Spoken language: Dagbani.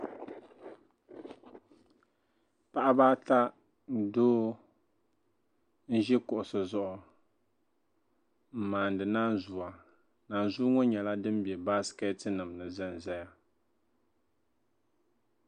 Paɣaba ata ni doo n-ʒi kuɣisi zuɣu m-maani naanzua naanzua ŋɔ nyɛla din be bassineti ni n-zanzaya